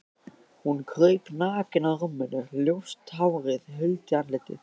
Hún kraup nakin á rúminu, ljóst hárið huldi andlitið.